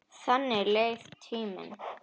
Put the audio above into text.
Þannig leið tíminn.